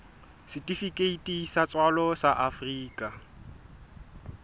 setifikeiti sa tswalo sa afrika